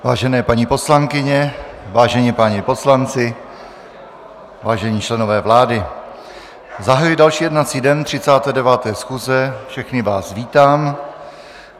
Vážené paní poslankyně, vážení páni poslanci, vážení členové vlády, zahajuji další jednací den 39. schůze, všechny vás vítám.